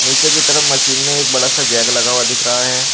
नीचे की तरफ मशीन में एक बड़ा सा जैक लगा हुआ दिख रहा है।